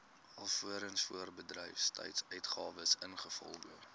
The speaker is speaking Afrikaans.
alvorens voorbedryfsuitgawes ingevolge